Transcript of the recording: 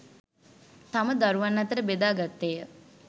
තම දරුවන් අතර බෙදා ගත්තේය